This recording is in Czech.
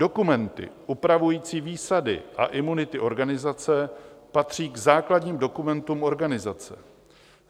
Dokumenty upravující výsady a imunity organizace patří k základním dokumentům organizace.